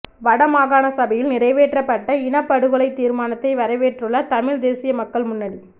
வடமாகாண சபையில் நிறைவேற்றப்பட்ட இனப்படுகொலை தீர்மானத்தை வரவேற்றுள்ள தமிழ்த் தேசிய மக்கள் முன்னணி